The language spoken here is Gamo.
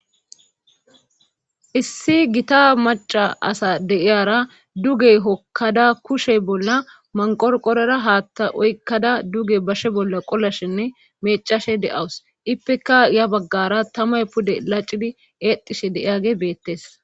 issi gita maca asa de7iyara dugey hokkada kushey bolla manqorqorera haatta oykkada duge bashe bolla qolashenne meeccashe de7awus ippeka ya baggara tamay pude laccidi eexishe de7iyaage beettes.